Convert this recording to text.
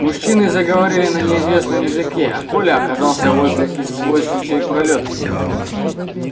мужчины заговорили на неизвестном языке а коля оказался возле извозчичьей пролётки